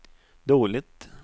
dåligt